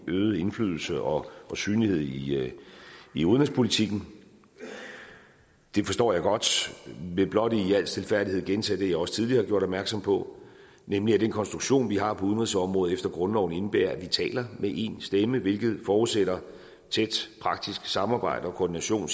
øget indflydelse og synlighed i i udenrigspolitikken det forstår jeg godt jeg vil blot i al stilfærdighed gentage det jeg også tidligere har gjort opmærksom på nemlig at den konstruktion vi har på udenrigsområdet efter grundloven indebærer at vi taler med én stemme hvilket forudsætter tæt praktisk samarbejde og koordination